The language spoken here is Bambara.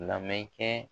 Lamɛn kɛ